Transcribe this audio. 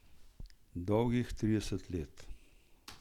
Dolgih trideset let.